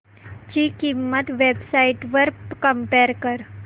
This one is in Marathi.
ची किंमत वेब साइट्स वर कम्पेअर कर